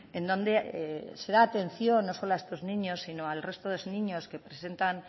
en donde se da atención no solo a estos niños sino al resto de niños que presentan